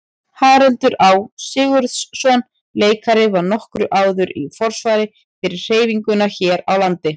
Haraldur Á. Sigurðsson leikari var nokkru áður í forsvari fyrir hreyfinguna hér á landi.